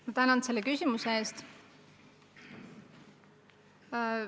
Ma tänan selle küsimuse eest!